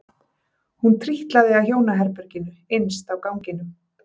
Hún trítlaði að hjónaherberginu innst á ganginum.